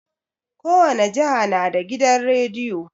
Kowane jiha na da gidan rediyo